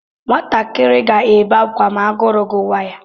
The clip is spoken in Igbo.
Nwatakịrị ga-ebe akwa ma agụrụ gụwa ya.